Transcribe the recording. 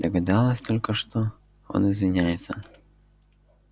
догадалась только что он извиняется